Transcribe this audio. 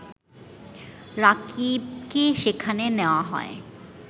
রাকিবকে সেখানে নেয়া হয়